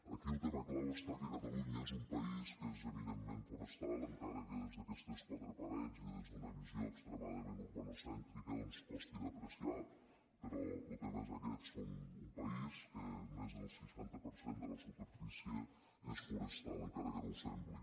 aquí el tema clau està que catalunya és un país que és eminentment forestal encara que des d’aquestes quatre parets i des d’una visió extremadament urbanocèntrica doncs costi d’apreciar però lo tema és aquest som un país del qual més del seixanta per cent de la superfície és forestal encara que no ho sembli